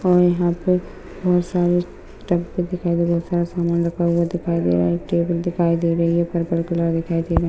और यहाँ पर बहुत सारे डब्बा दिखाई दे रहे है बहुत सारा सामान रखा हुआ दिखाई दे रहा है एक टेबल दिखाई दे रही है। पर्पल कलर दिखाई दे रहा--